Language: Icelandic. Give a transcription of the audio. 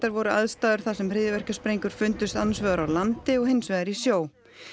voru aðstæður þar sem fundust annars vegar á landi og hins vegar í sjó